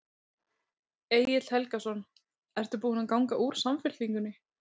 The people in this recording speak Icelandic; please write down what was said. Egil Helgason: Ertu búin að ganga úr Samfylkingunni?